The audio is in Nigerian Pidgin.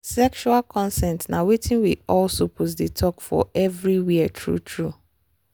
sexual consent na watin we all suppose dey talk for everywhere true true.